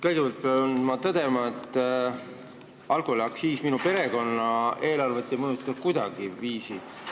Kõigepealt pean ma tõdema, et alkoholiaktsiis ei mõjuta minu perekonna eelarvet kuidagiviisi.